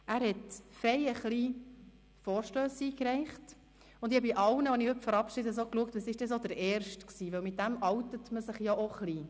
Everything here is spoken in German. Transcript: Er hat zahlreiche Vorstösse eingereicht, und ich habe bei allen, die ich heute verabschiede, nachgeschaut, welches ihr erster Vorstoss war, denn damit outet man sich ein Stück weit.